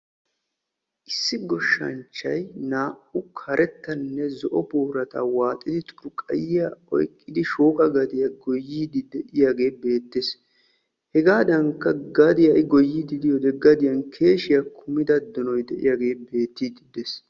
issi goshshanchay naa'u karettanne zo'o boorata waaaxidi xurqayiya oyqidi goyiidi de'iyagee beetees. hegaadankka gadiya i goyiyode keeshiya kummida donoy betees.